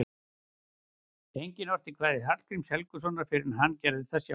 Enginn orti kvæði Hallgríms Helgasonar fyrr en hann gerði það sjálfur.